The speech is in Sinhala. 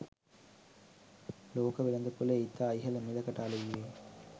ලෝක වෙළෙඳපොළේ ඉතා ඉහළ මිලකට අලෙවි වේ